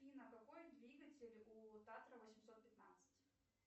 афина какой двигатель у татра восемьсот пятнадцать